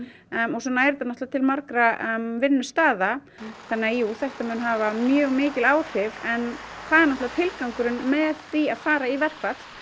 og svo nær þetta náttúrulega til margra vinnustaða þannig að jú þetta mun hafa mjög mikil áhrif en það er náttúrulega tilgangurinn með því að fara í verkfall